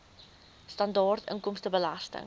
sibw standaard inkomstebelasting